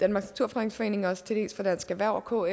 naturfredningsforening og også til dels fra dansk erhverv og